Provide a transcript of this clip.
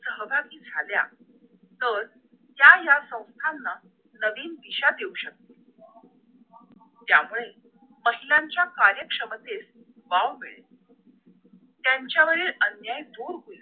सहभागी झाल्या तर त्या या संथाना नवीन दिशा देऊ शकतात त्यामुळे महिलांच्या कार्यक्षमतेत वाव मिळेल त्यांच्यावरील अन्याय दूर दूर होईल